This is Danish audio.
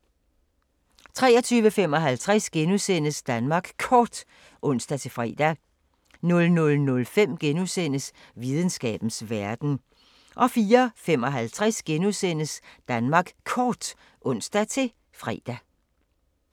23:55: Danmark Kort *(ons-fre) 00:05: Videnskabens Verden * 04:55: Danmark Kort *(ons-fre)